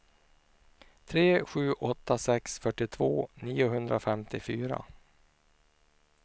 tre sju åtta sex fyrtiotvå niohundrafemtiofyra